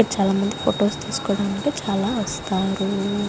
చాలా మంది ఫోటోస్ తీసుకోడానికి చాలా వస్తారూ.